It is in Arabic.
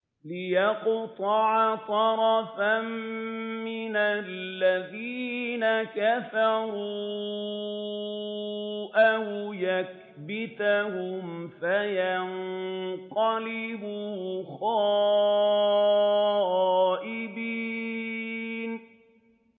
لِيَقْطَعَ طَرَفًا مِّنَ الَّذِينَ كَفَرُوا أَوْ يَكْبِتَهُمْ فَيَنقَلِبُوا خَائِبِينَ